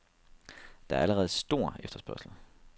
Der er allerede stor efterspørgsel.